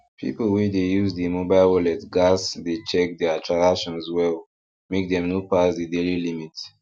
people wey dey use the mobile wallet gats dey check their transactions well make dem no pass the daily limit